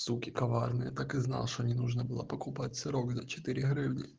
суки коварные так и знал что не нужно было покупать сырок за четыре гривны